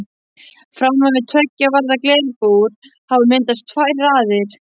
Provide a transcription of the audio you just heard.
Framan við tveggja varða glerbúr hafa myndast tvær raðir.